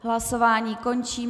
Hlasování končím.